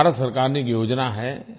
भारत सरकार की एक योजना है